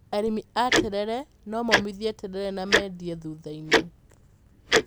Arĩmi a terere no momithie terere na mendie thutha-inĩ.